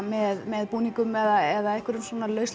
með búningum eða einhverjum